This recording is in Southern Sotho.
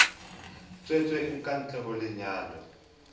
tswetsweng ka ntle ho lenyalo